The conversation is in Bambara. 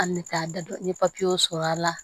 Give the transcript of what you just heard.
An bɛ taa da don n ye papiyew sɔrɔ a la